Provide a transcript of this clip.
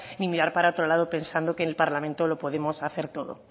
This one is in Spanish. ni mirar para otro lado pensando que en el parlamento lo podemos hacer todo